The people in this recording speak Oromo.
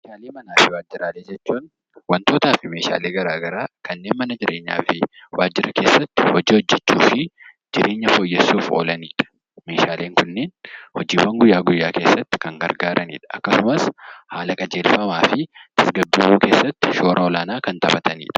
Meeshaalee manaa fi waajjiraalee jechuun wantootaa fi meeshaalee garaa garaa kanneen mana jireenyaa fi waajjira keessatti hojii hojjechuu fi jireenya fooyyessuuf oolanidha. Meeshaaleen kunneen hojiiwwan guyyaa guyyaa keessatti kan gargaaranidha. Akkasumas haala qajeelfamaa fi tasgabbaawuu keessatti shoora olaanaa kan taphatanidha.